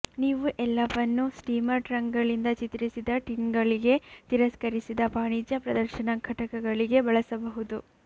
ನೀವು ಎಲ್ಲವನ್ನೂ ಸ್ಟೀಮರ್ ಟ್ರಂಕ್ಗಳಿಂದ ಚಿತ್ರಿಸಿದ ಟಿನ್ಗಳಿಗೆ ತಿರಸ್ಕರಿಸಿದ ವಾಣಿಜ್ಯ ಪ್ರದರ್ಶನ ಘಟಕಗಳಿಗೆ ಬಳಸಬಹುದು